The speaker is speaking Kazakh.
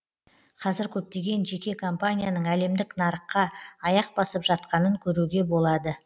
қазір көптеген жеке компанияның әлемдік нарыққа аяқ басып жатқанын көруге болады